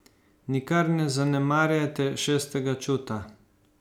Nikar ne zanemarjajte šestega čuta.